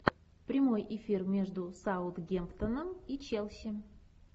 прямой эфир между саутгемптоном и челси